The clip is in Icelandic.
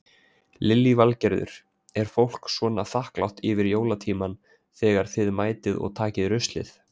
Lillý Valgerður: Er fólk svona þakklátt yfir jólatímann þegar þið mætið og takið ruslið?